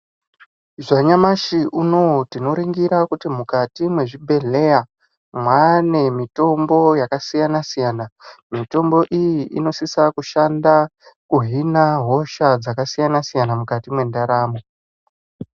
Zvanyamashi unoyu tinoringira kuti mukati mwezvibhedhlera mwaane mitombo yakasiyana-siyana. Mitombo iyi inosisa kushanda kuhina hosha dzakasiyana-siyana mukati mendaramo.